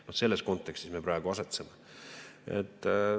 Vaat selles kontekstis me praegu asetseme.